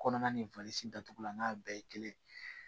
Kɔnɔna ni datugulan n'a bɛɛ ye kelen ye